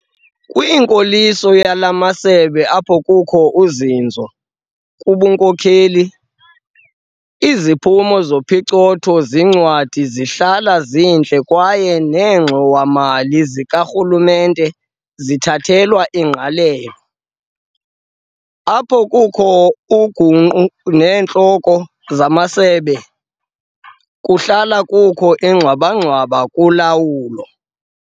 Kwinkoliso yala masebe apho kukho uzinzo kubunkokheli, iziphumo zophicotho-zincwadi zihlala zintle kwaye neengxowa-mali zikarhulumente zithathelwa ingqalelo. Apho kukho ugunqu zeentloko zamasebe, kuhlala kukho ingxwabangxwaba kulawulo.